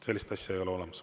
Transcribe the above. Sellist asja ei ole olemas.